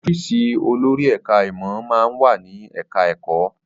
Ọ́fíìsì olórí ẹ̀ká ìmọ̀ máa ń wà ní ẹ̀ká ẹ̀kọ́